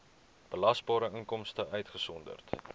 belasbare inkomste uitgesonderd